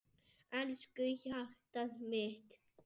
Elsku hjartað mitt.